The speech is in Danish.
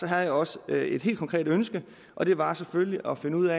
jeg også et et helt konkret ønske og det var selvfølgelig at finde ud